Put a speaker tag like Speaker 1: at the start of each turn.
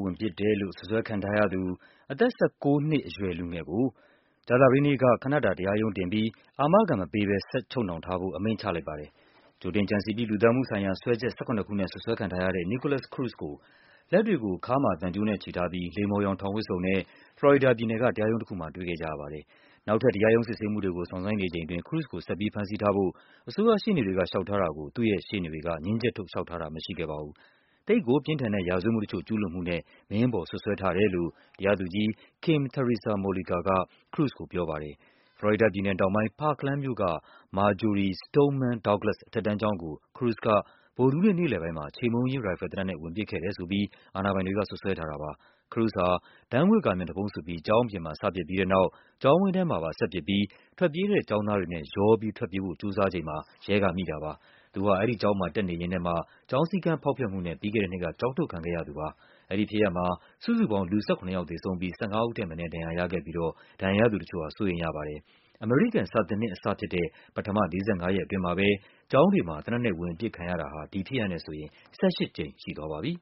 Speaker 1: ဝင်ပစ်တယ်လို့ အစွပ်စွဲခံထားရသူ အသက် ၁၉ နှစ်အရွယ် လူငယ်ကို ကြာသပတေးနေ့က ခနတာ တရားရုံးတင်ပြီး အာမခံမပေးဘဲ ချုပ်နှောင်ထားဖို့ အမိန့်ချလိုက်ပါတယ်။ ကြိုတင်ကြံစည်ပြီး လူသတ်မှုဆိုင်ရာ စွဲချက် ၁၇ ခုနဲ့ စွပ်စွဲခံထားရတဲ့ Nikolas Cruz ကို လက်တွေကို ခါးမှာသံကြိုးနဲ့ချည်ထားပြီး လိမ္မော်ရောင် ထောင်ဝတ်စုံနဲ့ ဖလော်ရီဒါပြည်နယ်က တရားရုံးတခုမှာ တွေ့ခဲ့ကြရပါတယ်။ နောက်ထပ် တရားရုံး စစ်ဆေးမှုတွေ ကို စောင့်ဆိုင်းနေချိန်အတွင်း Cruz ကို ဆက်ပြီး ဖမ်းဆီးထားဖို့ အစိုးရရှေ့နေတွေက လျှောက်ထားတာကို သူ့ရဲ့ရှေ့နေတွေက ငြင်းချက်ထုတ် လျှောက်ထားတာမရှိခဲ့ပါဘူး။ သိပ်ကိုပြင်းထန်တဲ့ ရာဇဝတ်မှုတချို့ ကျူးလွန်မှုနဲ့ မင်းအပေါ် စွပ်စွဲထားတယ်လို့ တရားသူကြီး Kim Theresa Mollica က Cruz ကိုပြောပါတယ်။ ဖလော်ရီဒါပြည်နယ်တောင်ပိုင်း၊ Parkland မြို့က Marjory Stoneman Douglas အထက်တန်းကျောင်းကို Cruz က ဗုဒ္ဓဟူးနေ့ နေ့လည်ပိုင်းမှာ ခြေမှုန်းရေး ရိုက်ဖယ်သေနတ်နဲ့ ဝင်ပစ်ခဲ့တယ်ဆိုပြီး အာဏာပိုင်တွေက စွပ်စွဲထားတာပါ။ Cruz ဟာ ဓာတ်ငွေ့ ကာ မျက်နှာဖုံးစွပ်ပြီး ကျောင်းအပြင်မှာ စပစ်ပြီးတဲ့နောက် ကျောင်းဝင်းထဲမှာပါ ဆက်ပစ်ပြီး ထွက်ပြေးတဲ့ ကျေင်းသားတွေနဲ့ ရော ပြီးထွက်ပြေးဖို့ ကြိုးစားချိန်မှာ ရဲကမိလိုက်တာပါ။ သူဟာ အဲဒီကျောင်းမှာ တက်နေရင်းနဲ့မှ ကျောင်း စည်းကမ်းဖောက်ဖျက်မှုနဲ့ ပြီးခဲ့တဲ့နှစ်က ကျောင်းထုတ်ခံခဲ့ရတာပါ။ အဲဒီဖြစ်ရပ်မှာ စုစုပေါင်း လူူ ၁၇ ယောက်သေဆုံးပြီး ၁၅ ဦးထက်မနည်း ဒဏ်ရာရခဲ့ပြီး ဒဏ်ရာရသူတချို့ဟာ စိုးရိမ်ရပါတယ်။ အမေရိကန် စာသင်နှစ်အသစ်စတဲ့ ပထမ ၄၅ ရက် အတွင်းမှာပဲ ကျောင်းတွေမှာ သေနတ်နဲ့ဝင်ပစ်ခံရတာဟာ ဒီဖြစ်ရပ်နဲ့ဆိုရင် ၁၈ ကြိမ်ရှိသွားပါပြီ